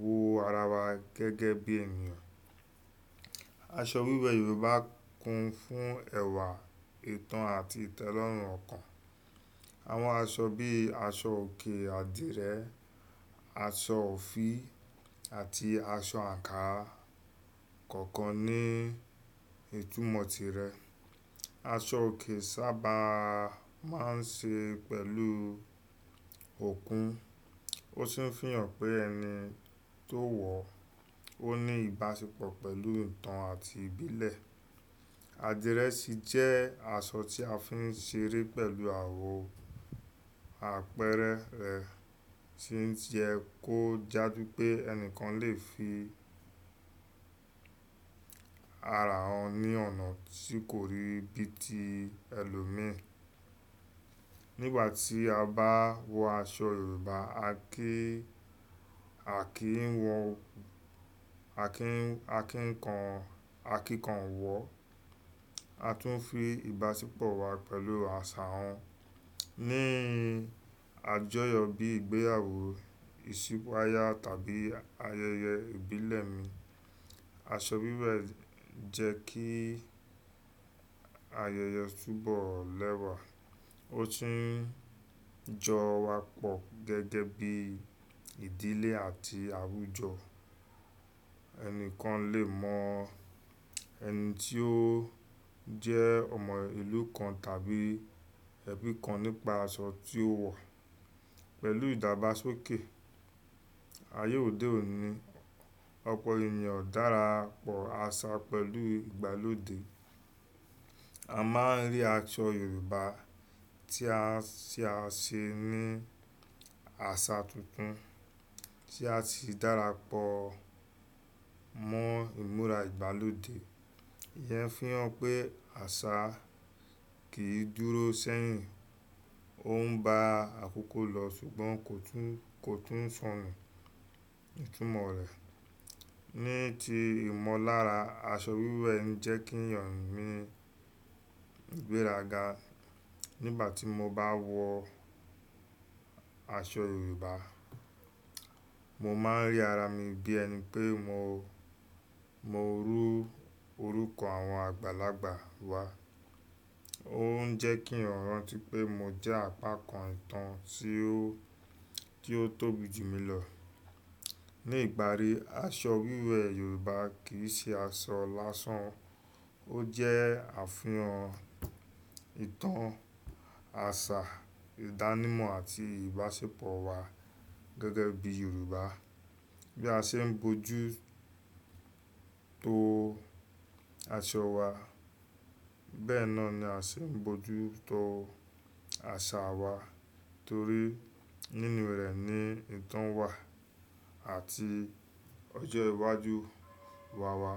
wo ara wa gẹ́gẹ́ bí ènìyàn. Aṣọ wíwẹ̀ Yorùbá kún fún ẹ̀wà, ìtàn àti ìtẹ́lọ́rùn ọkàn. Àwọn aṣọ bíi aṣọ òkè, àdìrẹ, aṣọ òfì àti aṣọ àǹkárá kọ̀ọ̀kan ní ìtumọ̀ tirẹ̀. Aṣọ òkè sábà máa ń ṣe pẹ̀lú òkun, ó sì ń fi hàn pé ẹni tó wọ ó ní ìbáṣepọ̀ pẹ̀lú ìtàn àti ìbílẹ̀. Àdìrẹ sì jẹ́ aṣọ tí a fi ń ṣeré pẹ̀lú àwọ̀, àpẹẹrẹ rẹ̀ sì ń jẹ kó jáde pé ẹni kan lè fi ara wọn ní ọ̀nà tí kò rí bíi ti ẹlòmí. Nígbà tí a bá wọ aṣọ Yorùbá, a kì a kin wo ki kan a kin kan wọ, a tún fi ìbáṣepọ̀ wa pẹ̀lú àṣà wọn. Ní àjọyọ̀ bíi ìgbéyàwó, ìsípáyà tàbí ayẹyẹ ìbílẹ̀ mi, aṣọ wíwẹ̀ jẹ́ kí ayẹyẹ túbọ̀ lẹ́wà. Ó sì ń jọ wa pọ̀ gẹ́gẹ́ bí ìdílé àti àwùjọ. Ẹni kan lè mọ ẹni tí ó jẹ́ ọmọ ìlú kan tàbí ẹbí kan nípa aṣọ tí ó wọ̀. Pẹ̀lú ìdàgbàsókè ayé òde òní, ọ̀pọ̀ ènìyàn dára pọ̀ àṣà pẹ̀lú ìgbàlódé. A máa ń rí aṣọ Yorùbá tí a ṣe ní àṣà tuntun tí a sì dára pọ̀ mọ́ ìmúra ìgbàlódé. Ìyẹn fi hàn pé àṣà kì í dúró sẹ́yìn, ó ń bá àkókò lọ ṣùgbọ́n kò tún ń sọnù ìtumọ̀ rẹ̀. Ní ti ìmọ̀lára, aṣọ wíwẹ̀ ń jẹ́ kínyàn ni ìgbéraga. Nígbà tí mo bá wọ aṣọ Yorùbá, mo máa ń rí ara mi bí ẹni pé mo ru orúkọ àwọn àgbàlagbà wa. Ó ń jẹ́ kí n rántí pé mo jẹ́ àpakàn ìtàn tí ó tóbi jù mí lọ. Ní ìparí, aṣọ wíwẹ̀ Yorùbá kì í ṣe aṣọ lásán, ó jẹ́ àfihàn ìtàn, àṣà, ìdánimọ̀ àti ìbáṣepọ̀ wa gẹ́gẹ́ bí Yorùbá. Bí a ṣe ń bójú tó aṣọ wa, bẹ́ẹ̀ náà ni a ṣe ń bójú tó àṣà wa torí nínú rẹ̀ ni ìtàn wa àti ọjọ́ iwájú wa wà.